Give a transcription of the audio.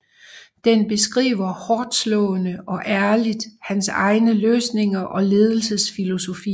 Den beskriver hårdtslående og ærligt hans egne løsninger og ledelsesfilosofier